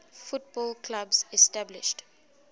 football clubs established